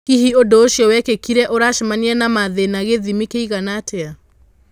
Hihi ũndũũcio wekĩkire uracemania na mathĩna gĩthĩmi kĩigana atĩa?